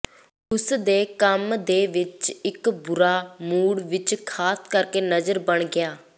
ਉਸ ਦੇ ਕੰਮ ਦੇ ਵਿੱਚ ਇੱਕ ਬੁਰਾ ਮੂਡ ਵਿਚ ਖਾਸ ਕਰਕੇ ਨਜ਼ਰ ਬਣ ਗਿਆ